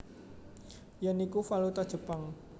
Yen iku valuta Jepang